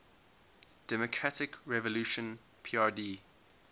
democratic revolution prd